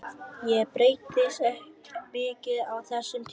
Ég breyttist mikið á þessum tíma.